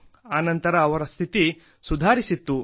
ಅನಂತರ ಅವರ ಸ್ಥಿತಿ ಸುಧಾರಿಸಿತ್ತು